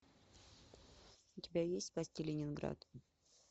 у тебя есть спасти ленинград